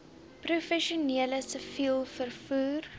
professioneel siviel vervoer